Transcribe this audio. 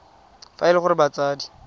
fa e le gore batsadi